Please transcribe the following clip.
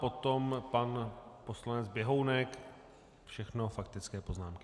Potom pan poslanec Běhounek, všechno faktické poznámky.